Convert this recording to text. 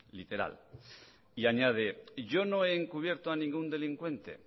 literal y añade yo no he encubierto a ningún delincuente